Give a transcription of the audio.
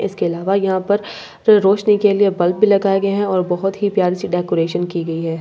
इसके अलावा यहां पर फिर रोशनी के लिए बल्‍ब भी लगाये गये है और बहुत ही प्‍यारी सी डेकोरेशन की गई है ।